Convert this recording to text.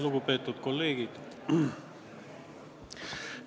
Lugupeetud kolleegid!